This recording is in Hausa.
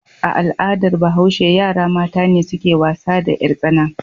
A al'adar Bahashe, yara mata ne suke wasa da 'yartsana.